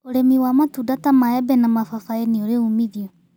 ũrĩmĩwa matunda ta maembe na mababaĩnĩũrĩumithio